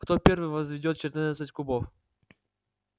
кто первый возведёт четырнадцать кубов